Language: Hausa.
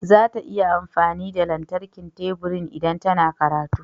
Za ta yi amfani da lantarkin teburin idan tana karatu.